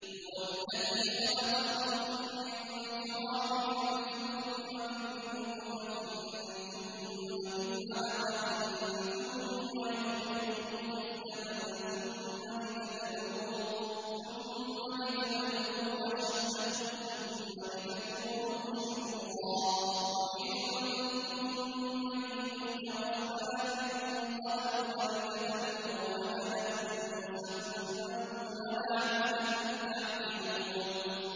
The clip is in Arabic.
هُوَ الَّذِي خَلَقَكُم مِّن تُرَابٍ ثُمَّ مِن نُّطْفَةٍ ثُمَّ مِنْ عَلَقَةٍ ثُمَّ يُخْرِجُكُمْ طِفْلًا ثُمَّ لِتَبْلُغُوا أَشُدَّكُمْ ثُمَّ لِتَكُونُوا شُيُوخًا ۚ وَمِنكُم مَّن يُتَوَفَّىٰ مِن قَبْلُ ۖ وَلِتَبْلُغُوا أَجَلًا مُّسَمًّى وَلَعَلَّكُمْ تَعْقِلُونَ